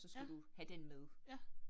Ja, ja